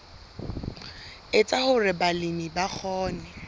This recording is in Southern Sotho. etsa hore balemi ba kgone